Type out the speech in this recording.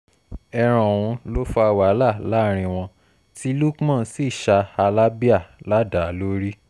ẹran ọ̀hún ló fa wàhálà láàrin wọn tí lukman sì ṣá halábéà ládàá lórí